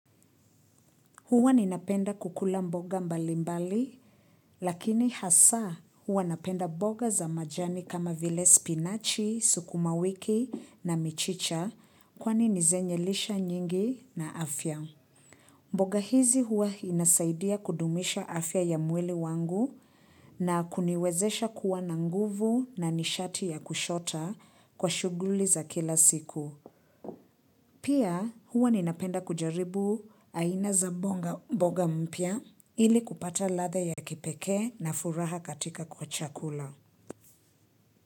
Huwa ninapenda kukula mboga mbalimbali, lakini hasa huwa napenda mboga za majani kama vile spinachi, sukuma wiki na michicha kwani ni zenye lisha nyingi na afya. Mboga hizi huwa inasaidia kudumisha afya ya mwili wangu na kuniwezesha kuwa na nguvu na nishati ya kushota kwa shuguli za kila siku. Pia huwa ninapenda kujaribu aina za mboga mpya ili kupata ladha ya kipekee na furaha katika kwa chakula.